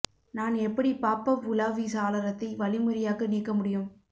நான் எப்படி pop up உலாவி சாளரத்தை வழிமுறையாக நீக்க முடியும்